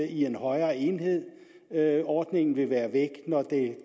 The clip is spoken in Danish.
i en højere enhed ordningen vil være væk når